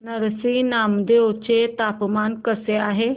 नरसी नामदेव चे तापमान कसे आहे